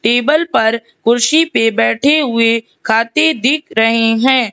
Table पर कुर्सी पे बैठे हुए खाते दिख रहे हैं।